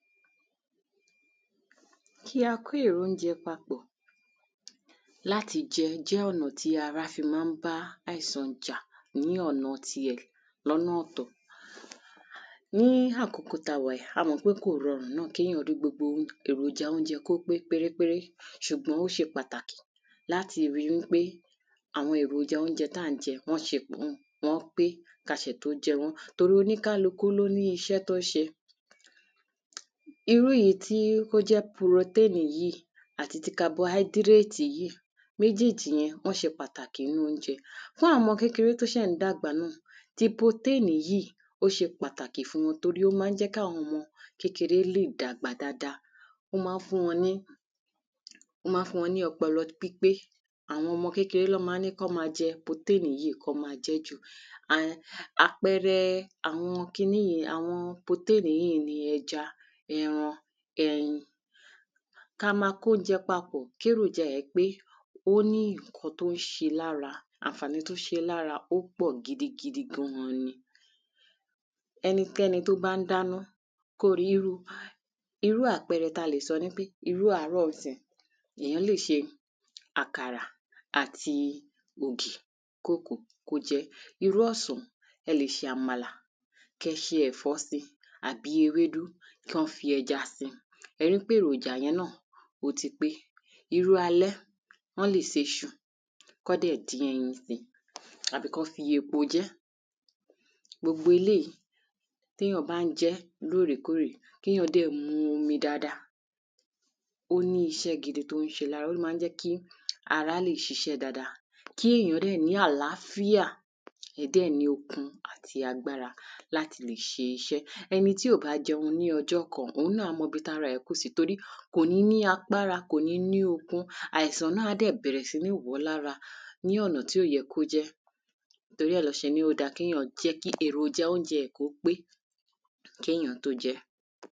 Kí a kó ìrónjẹ papọ̀ láti jẹun jẹ́ ọ̀nà tí ara fi má ń bá àìsàn jà ní ọ̀nà ti ẹ̀ lọ́nà ọ̀tọ̀. Ní àkókò tá wà yìí a mọ̀ pé kò rọrùn náà kéyàn rí gbogbo èròjà óúnjẹ kó pé péré péré ṣùgbọ́n ó ṣe pàtàkì láti rí wípé àwọn èròjà óúnjẹ tá ń jẹ wọ́n ṣe pọ̀n wọ́n pé ká sì tún jẹ wọ́n torí oní kálukú ló níṣẹ́ tó ń ṣe. Irú èyí tí ó jẹ́ proténì yìí àti ti carbohydrate yìí méjéjì yẹn wọ́n ṣe pàtàkì nínú óúnjẹ. Fún àwọn ọmọ kékeré tó ṣè ń dàgbà náà ti protein yìí ó ṣe pàtàkì fún wọn torí ó má ń jẹ́ káwọn ọmọ kékeré lè dàgbà dáada ó má ń fún wọn ní ó má ń fún wọn ní ọpọlọ pípé àwọn ọmọ kékeré lán má ń ní kán má jẹ protein yìí kán má jẹ́ jù. Àpẹrẹ àwọn kiní yìí protein yìí ni ẹja ẹran ẹyin. Ká má kó jẹ papọ̀ kéròjà ẹ̀ pé ó ní nǹkan tó ń ṣe lára ànfàní tó ń ṣe lára ó pọ̀ gidi ga ni. Ẹnikẹ́ni tó bá ń dáná kó rí irú àpẹrẹ tá lè sọ nipé irú àárọ̀ ńsìyìí èyàn lè ṣe àkàrà àti ògì kó kó kó jẹ́. Irú ọ̀sán ẹ lè ṣe àmàlà ké ṣe ẹ̀fọ́ sí tàbí ewédú kán fi ẹ̀ja sí ẹ rí pé èròjà yẹn náà ó ti pé. Irú alẹ́ wọ́n lè seṣu kán dẹ̀ dín ẹyin sí tàbí kán fi epo jẹ́. Gbogbo eléèyí téyàn bá ń jẹ́ lórèkórè kéyàn dẹ̀ mu omi dáada. Ó ní iṣẹ́ gidi tó ń ṣe lára ó má ń jẹ́ kí ara lè ṣiṣẹ́ dáradára kí èyàn dẹ̀ ní àláfíà kéyàn dẹ̀ ní okun àti agbára láti le ṣe iṣẹ́. Ẹni tí ò bá jẹun ní ọjọ́ kan òhun náà á mọ ibi tára ẹ̀ kù sí torí kò ní ní agbára kò ní ní okun àìsàn náà á bẹ̀rẹ̀ sí ní wọ̀ọ́ lára ní ọ̀nà tí ò yẹ kó jẹ́. Torí ẹ̀ lán ṣe ní ó dá kéyàn jẹ́ kí èròjà óúnjẹ rẹ̀ kí ó pé kéyàn tó jẹ́.